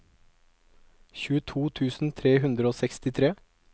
tjueto tusen tre hundre og sekstitre